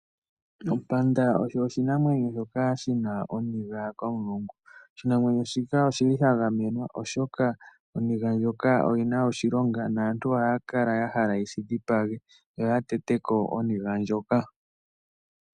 Ompinda oyo oshinamwenyo shoka shina oniga komulungu. Oshinamwenyo shika oshili sha gamenwa oshoka oniga ndjika oyi na oshilonga naantu ohaya kala ya hala yeshi dhipage, yo ya tete ko oniga ndjoka.